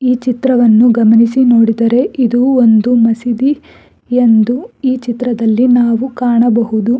ಈ ಚಿತ್ರವನ್ನು ಗಮನಿಸಿ ನೋಡಿದರೆ ಇದು ಒಂದು ಮಸೀದಿ ಎಂದು ಈ ಚಿತ್ರದಲ್ಲಿ ನಾವು ಕಾಣಬಹುದು.